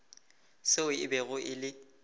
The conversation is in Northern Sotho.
seo e bego e le